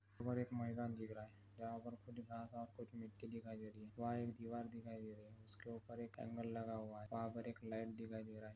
और एक मैदान दिख रहा है वहां पर कुछ घास वास कुछ मिट्टी दिखाई दे रही है वहां एक दीवार दिखाई दे रही है उसके ऊपर एक एंगल लगा हुआ है वहां पर एक लाइट दिखाई दे रहा है।